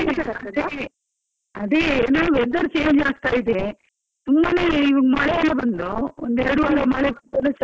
ಅದೇ ಎನಾ weather change ಆಗ್ತಾ ಇದೆ, ತುಂಬಾನೇ ಮಳೆಯೆಲ್ಲಾ ಬಂದು ಒಂದು ಎರಡು ವಾರ ಮಳೆಗೆ ಚಲಿಯೆಲ್ಲಾ ಇತ್ತು.